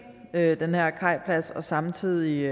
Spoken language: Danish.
kajpladsen og samtidig